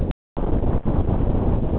Þið farið ekki í afmæli nema í sparifötunum.